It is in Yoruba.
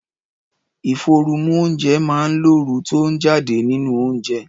Ìforu mú oúnjẹ máa ń lo ooru tó ń jáde nínú oúnjẹ